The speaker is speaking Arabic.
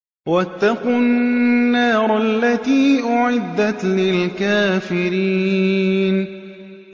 وَاتَّقُوا النَّارَ الَّتِي أُعِدَّتْ لِلْكَافِرِينَ